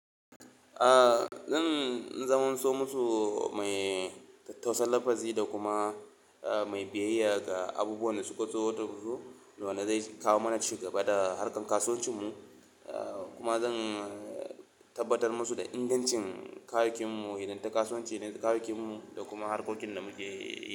A zan zamanso musu mai tausar lafazi da kuma mai biyayya ga abubuwan da suka zo wata hudu, dole zai kawo mana ci gaba da harkar kasuwancin mu. Kuma zan tabbatar musu da ingancin kayakin mu, hidimar kasuwanci na kayakin mu da kuma harkokin da muke yi.